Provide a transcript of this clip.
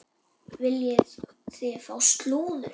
Viljið þið fá slúður?